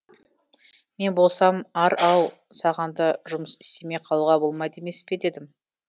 мен болсам ар ау саған да жұмыс істемей қалуға болмайды емес пе дедім